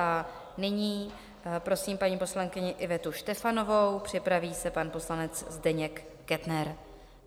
A nyní prosím paní poslankyni Ivetu Štefanovou, připraví se pan poslanec Zdeněk Kettner.